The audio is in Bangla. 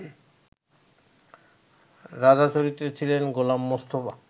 রাজা চরিত্রে ছিলেন গোলাম মুস্তাফা